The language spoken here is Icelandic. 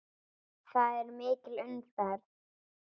Þar er mikil umferð.